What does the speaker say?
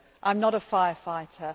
I am not a fire fighter.